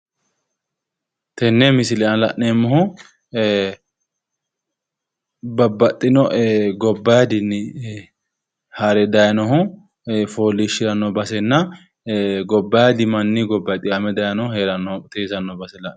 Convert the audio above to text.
Tenne misile aana la'neemmohu babbaxxino gobbaadinni hare dayinohu foolliishshiranno basenna gobbaadi manni, manni gobbanni hee'ranno teesanno baseeti.